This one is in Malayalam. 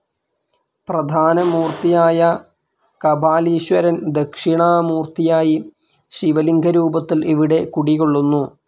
പ്രധാന മൂർത്തിയായ കപാലീശ്വരൻ ദക്ഷിണാമൂർത്തിയായി ശിവലിംഗരൂപത്തിൽ ഇവിടെ കുടികൊള്ളുന്നു.